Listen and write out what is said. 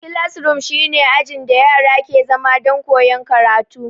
Kilasroom shi ne ajin da yara ke zama don koyan karatu